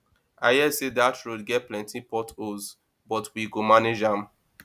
i hear sey dat road get plenty port holes but we go manage am